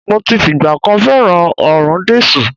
Mo ti fìgbà kan fẹ́ràn òórùn dísù.